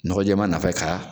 Nɔgɔ jɛman nɔfɛ ka